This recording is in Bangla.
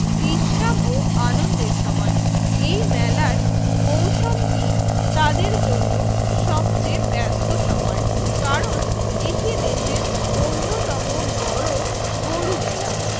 বিশ্রাম ও আনন্দের সময় এই মেলার মৌসমটি তাদের জন্য সবচেয়ে ব্যস্ত সময় কারণ এটি দেশের অন্যতম বড় গরু মেলা